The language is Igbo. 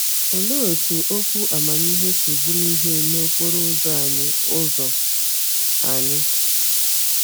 Olee otú okwu amamihe si bụrụ ìhè n’okporo ụzọ anyị? ụzọ anyị?